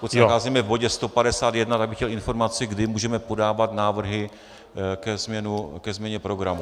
Pokud se nacházíme v bodě 151, tak bych chtěl informaci, kdy můžeme podávat návrhy ke změně programu.